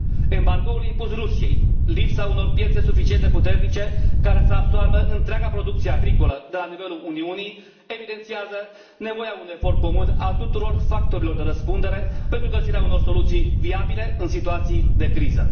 Embargoul impus Rusiei, lipsa unor piețe suficient de puternice care să absoarbă întreaga producție agricolă de la nivelul Uniunii evidențiază nevoia unui efort comun al tuturor factorilor de răspundere pentru găsirea unor soluții viabile, în situații de criză.